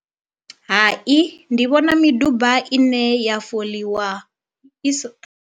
Hai ndi vhona miduba ine ya foḽiwa i si.